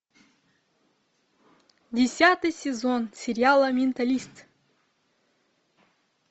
десятый сезон сериала менталист